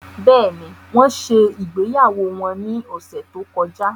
Bẹ́ẹ̀ni, wọn ṣe ìgbéyàwó wọn ní ọ̀sẹ̀ tó kọjá